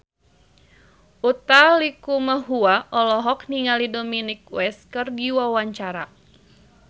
Utha Likumahua olohok ningali Dominic West keur diwawancara